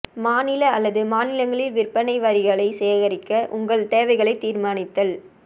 மாநில அல்லது மாநிலங்களில் விற்பனை வரிகளை சேகரிக்க உங்கள் தேவைகளை தீர்மானித்தல்